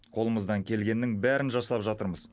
қолымыздан келгеннің бәрін жасап жатырмыз